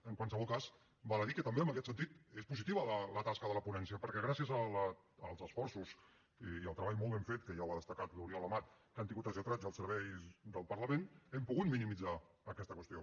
en qualsevol cas val a dir que també en aquest sentit és positiva la tasca de la ponència perquè gràcies als esforços i al treball molt ben fet que ja ho ha destacat l’oriol amat que han tingut els lletrats i els serveis del parlament hem pogut minimitzar aquesta qüestió